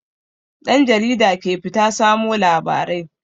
Ɗan jarida ke fita samo labarai.